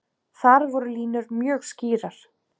Þar voru línur mjög skýrar.